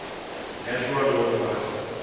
natural law party